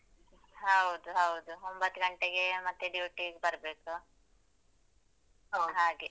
ಹೌದು ಹೌದು, ಒಂಬತ್ ಗಂಟೆಗೆ ಮತ್ತೆ duty ಗ್ ಬರ್ಬೇಕು so ಹಾಗೆ.